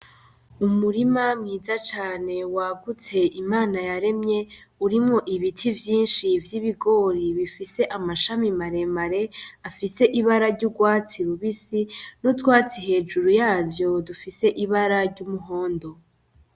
Umurima mwiza cane wagutse, Imana yaremye urimwo ibiti vyinshi vy'ibigori bifise amashami maremare afise ibara ryurwatsi rubisi n'utwatsi hejuru yavyo dufise ibara ryumuhondo.